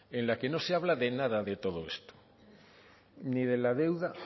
en la que no se habla de nada de todo esto ni de la deuda